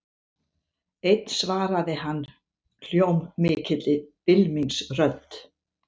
Einn svaraði hann hljómmikilli bylmingsrödd.